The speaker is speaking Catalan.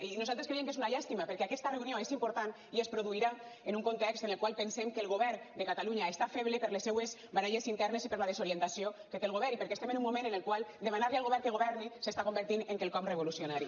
i nosaltres creiem que és una llàstima perquè aquesta reunió és important i es produirà en un context en el qual pensem que el govern de catalunya està feble per les seues baralles internes i per la desorientació que té el govern i perquè estem en un moment en el qual demanar li al govern que governi s’està convertint en quelcom revolucionari